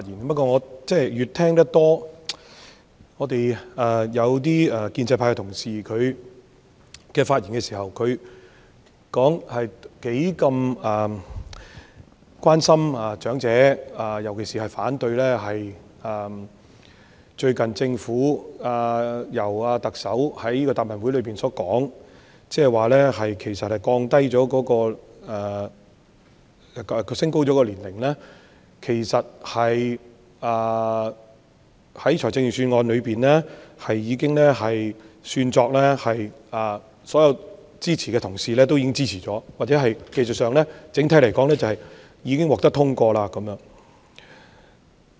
不過，我聽到建制派同事在發言時表示他們是如何關心長者，尤其反對最近特首在答問會上表示，其實所有支持財政預算案的同事也是被視為支持提高申領長者綜合社會保障援助年齡的措施，又或者說在技術上，整體來說，建議已經獲得通過。